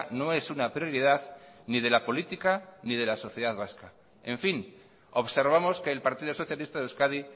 no es una prioridad ni de la política ni de la sociedad vasca en fin observamos que el partido socialista de euskadi